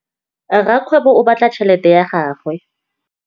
Rakgwêbô o bala tšheletê ya gagwe.